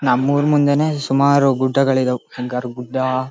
ನಮ್ಮೂರ್ ಮುಂದೆನೆ ಸುಮಾರ್ ಗುಡ್ಡಗಳ್ ಇದಾವ್